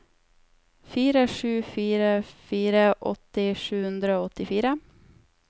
fire sju fire fire åtti sju hundre og åttifire